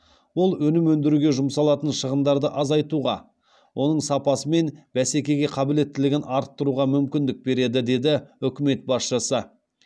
ол өнім өндіруге жұмсалатын шығындарды азайтуға оның сапасы мен бәсекеге қабілеттілігін арттыруға мүмкіндік береді деді үкімет басшысы